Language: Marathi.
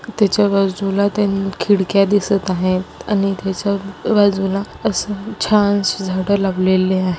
त्याच्या बाजूला तीन खिडक्या दिसत आहेत आणि तेच्या बाजूला असं छान अशी झाडं लावलेले आहे.